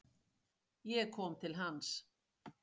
Ég kom til hans.